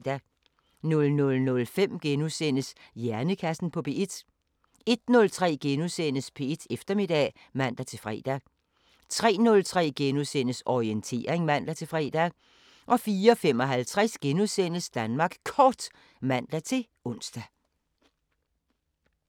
00:05: Hjernekassen på P1 * 01:03: P1 Eftermiddag *(man-fre) 03:03: Orientering *(man-fre) 04:55: Danmark Kort *(man-ons)